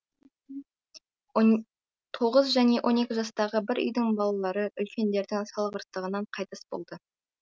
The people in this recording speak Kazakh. тоғыз және он екі жастағы бір үйдің балалары үлкендердің салғырттығынан қайтыс болды